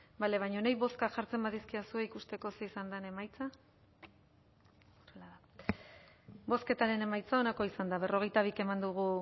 bale baina nahi bozka jartzen badizkidazue ikusteko zein izan den emaitza bozketaren emaitza onako izan da berrogeita bi eman dugu